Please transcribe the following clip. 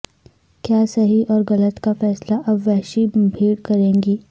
کیا صحیح اور غلط کا فیصلہ اب وحشی بھیڑ کرے گی